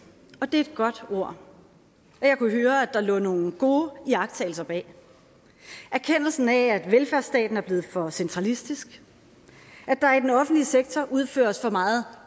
og det er et godt ord og jeg kunne høre at der lå nogle gode iagttagelser bag erkendelsen af at velfærdsstaten er blevet for centralistisk at der i den offentlige sektor udføres for meget